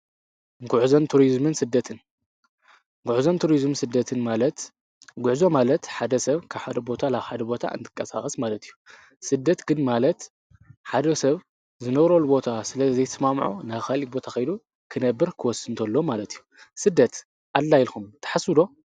ጕዕዞን ቱርዝም ስደትን ማለት ጕዕዞ ማለት ሓደ ሰብ ካሓደ ቦታ ላ ሓደ ቦታ እንትቀሳቐስ ማለት እዩ ሥደት ግን ማለት ሓደ ሰብ ዝነሮ ኣልቦታ ስለ ዘይስማምዑ ነኻል ቦታ ኸይሉ ክነብር ክወሱ እንተሎ ማለት እዩ ስደት ኣላ ልኩም ተሓሱዶ።